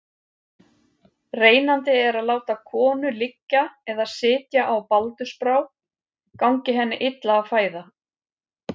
Reynandi er að láta konu liggja eða sitja á baldursbrá gangi henni illa að fæða.